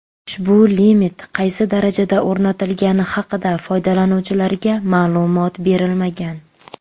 Ushbu limit qaysi darajada o‘rnatilgani haqida foydalanuvchilarga ma’lumot berilmagan.